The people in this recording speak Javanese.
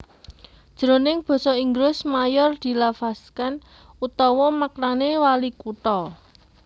Jroning basa Inggris mayor dilafazkan utawa maknané walikutha